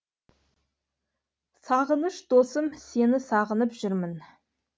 сағыныш досым сені сағынып жүрмін